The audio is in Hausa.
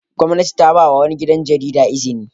Gwamnati ta ba wa wani gidan jarida izini.